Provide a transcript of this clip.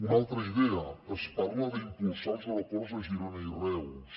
una altra idea es parla d’impulsar els aeroports de girona i reus